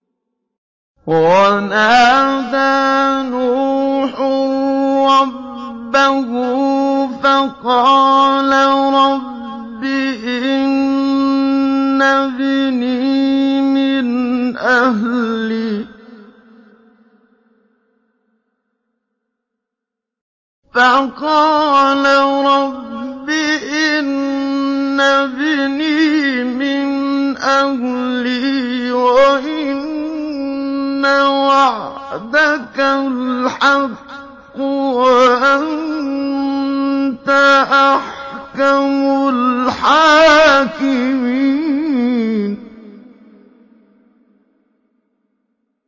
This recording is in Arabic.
وَنَادَىٰ نُوحٌ رَّبَّهُ فَقَالَ رَبِّ إِنَّ ابْنِي مِنْ أَهْلِي وَإِنَّ وَعْدَكَ الْحَقُّ وَأَنتَ أَحْكَمُ الْحَاكِمِينَ